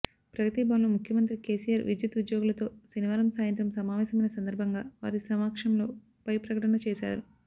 ప్రగతి భవన్లో ముఖ్యమంత్రి కెసిఆర్ విద్యుత్ ఉద్యోగులతో శనివారం సాయంత్రం సమావేశమైన సందర్భంగా వారి సమక్షంలోనే పై ప్రకటన చేశారు